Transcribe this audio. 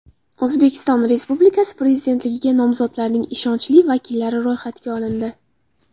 O‘zbekiston Respublikasi Prezidentligiga nomzodlarning ishonchli vakillari ro‘yxatga olindi.